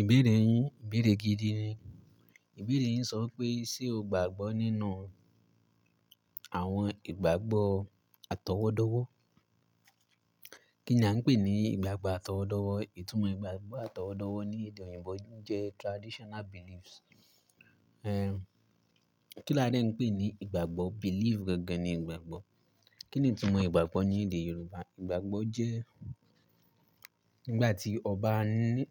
Ìbéèrè yín, ìbéèrè gidi ni. Ìbéèrè yín sọ pé ṣe o gbàgbọ́ nínú àwọn ìgbàgbọ́ àtọwọ́dọ́wọ́? Kí ni a ń pè ní ìgbàgbọ́ àtọwọ́dọ́wọ́? Ìtumọ̀ ìgbàgbọ́ àtọwọ́dọ́wọ́ ní èdè òyìnbó jẹ́ traditional beliefs. Eh, kí la dẹ́ ń pè ní ìgbàgbọ́? Belief gangan ni ìgbàgbọ́. Kí ni ìtumọ̀ ìgbàgbọ́ ní èdè Yorùbá? Ìgbàgbọ́ jẹ́ nígbà tí ọba ní--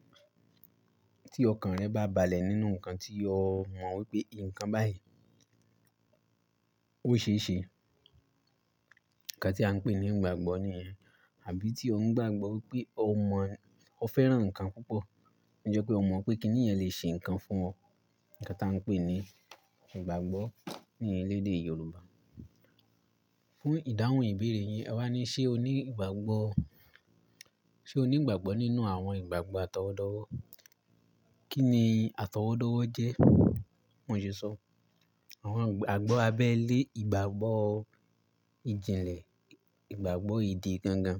tí ọkàn rẹ bá balẹ̀ nínú nǹkan tí o mọ̀ wípé ǹkan báyìí ó ṣe é ṣe. Ǹkan tí a ń pè ní ìgbàgbọ́ nìyẹn. Àbí tí o ń gbàgbọ́ wípé o mọ̀, o fẹ́ràn ǹkan púpọ̀, ó jẹ́ pé o mọ̀ wípé kí ni ẹ́ le ṣe ǹkan fún ọ. Ǹkan tí a ń pè ní ìgbàgbọ́ ní iléèdè Yorùbá. Fún ìdáhùn ìbéèrè yín, àwa ní ṣe o ní ìgbàgbọ́, ṣe o ní ìgbàgbọ́ nínú àwọn ìgbàgbọ́ àtọwọ́dọ́wọ́? Kí ni àtọwọ́dọ́wọ́ jẹ́? Mo sì sọ, àwọn ìgbàgbọ́ abẹ́lé, ìgbàgbọ́ ìjìnlẹ̀, ìgbàgbọ́ ìdí gangan.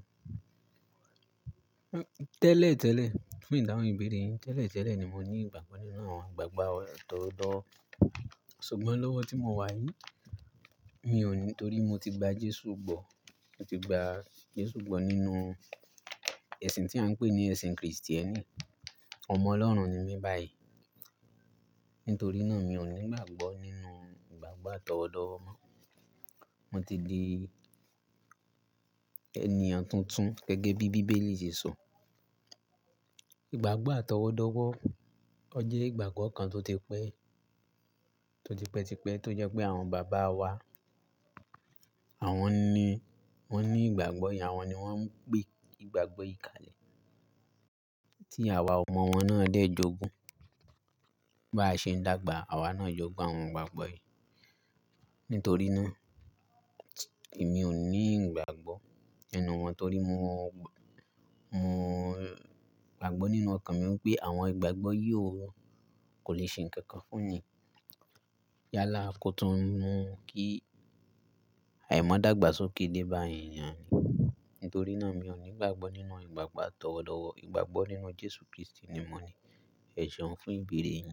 Tẹ́lẹ̀ tẹ́lẹ̀, fún ìdáhùn ìbéèrè yín, tẹ́lẹ̀ tẹ́lẹ̀ ni mo ní ìgbàgbọ́ nínú àwọn ìgbàgbọ́ àtọwọ́dọ́wọ́. Ṣùgbọ́n lọ́wọ́ tí mo wà yìí, mi ò ní torí mo ti gba Jésù gbọ́. Mo ti gba Jésù gbọ́ nínú ẹ̀sìn tí à ń pè ní ẹ̀sìn Kristẹni. Ọmọ Ọlọ́run ni mí báyìí. Nítorí náà mi ò ní ìgbàgbọ́ nínú ìgbàgbọ́ àtọwọ́dọ́wọ́ mọ́. Mo ti di ènìyàn tuntun gẹ́gẹ́ bí Bíbélì ṣe sọ. Ìgbàgbọ́ àtọwọ́dọ́wọ́, ọje ìgbàgbọ́ kan tó ti pẹ́, tó ti pẹ́ tipẹ́ tó jẹ́ pé àwọn bàbá wa, àwọn ni wọ́n ní ìgbàgbọ́ yen, àwọn ni wọ́n ń gbé ìgbàgbọ́ yìí kalẹ̀. Tí àwa ọmọ wọn náà dẹ́ jogun, bá ṣe ń dàgbà, àwa náà jogun àwọn ìgbàgbọ́ yìí. Nítorí náà èmi ò ní ìgbàgbọ́ ẹnu wọn torí mo, mo gbàgbọ́ nínú ọkàn mi wípé àwọn ìgbàgbọ́ yó kò lè ṣe ǹkan kan fún yín. Yálà kó tún nu kí àìmọ́ dàgbà sókè dé bá yín ni a ní. Nítorí náà mi ò ní ìgbàgbọ́ nínú ìgbàgbọ́ àtọwọ́dọ́wọ́. Ìgbàgbọ́ nínú Jésù Kristi ni mo ní. Ẹ̀ṣọ́ fún ìbéèrè yín.